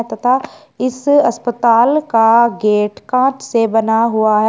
तथा इस अस्पताल का गेट कांच से बना हुआ ह--